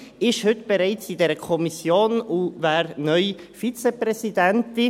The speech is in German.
Auch sie ist heute bereits in dieser Kommission und wäre neu Vizepräsidentin.